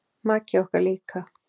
Maki okkar líka.